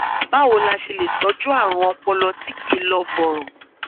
báwo la ṣe lè tọjú àrùn ọpọlọ tí kì í lọ bọrọ